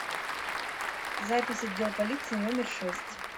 запись отдел полиции номер шесть